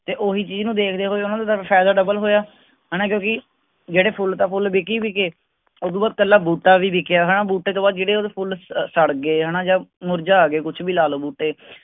ਤੇ ਓਹੀ ਚੀਜ਼ ਨੂੰ ਦੇਖਦੇ ਹੋਇਆ ਸਾਨੂੰ ਫਾਇਦਾ ਹੋਇਆ ਹੈਨਾ ਕਿਉਂਕਿ ਜਿਹੜੇ ਫੁੱਲ ਤਾਂ ਫੁੱਲ ਬਿਕੇ ਹੀ ਬਿਕੇ ਓਹਤੋਂ ਬਾਅਦ ਕੱਲਾ ਬੂਟਾ ਵੀ ਵਿਕਿਆ ਹੈਨਾ ਬੂਟੇ ਤੋਂ ਬਾਅਦ ਜਿਹੜੇ ਓਹਦੇ ਫੁੱਲ ਸੜ ਗਏ ਹੈਨਾ ਜਾਂ ਮੁਰਝਾ ਗਏ ਕੁੱਛ ਵੀ ਲਾ ਲਓ ਬੂਟੇ